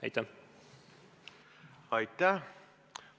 Aitäh!